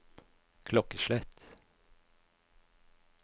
klokkeslett